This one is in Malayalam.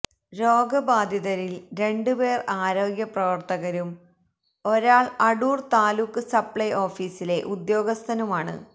രോഗ ബാധിതരില് രണ്ട് പേര് ആരോഗ്യ പ്രവര്ത്തകരും ഒരാള് അടൂര് താലൂക്ക് സപ്ലൈ ഓഫീസിലെ ഉദ്യോഗസ്ഥനുമാണ്